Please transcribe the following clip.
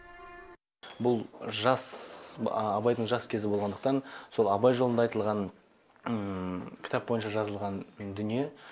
бұл абайдың жас кезі болғандықтан сол абай жолында айтылған кітап бойынша жазылған дүние